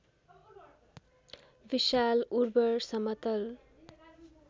विशाल उर्वर समतल